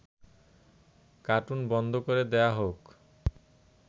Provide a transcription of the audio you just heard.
cartoon বন্ধ করে দেয়া হোক